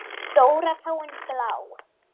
Stóra táin blá.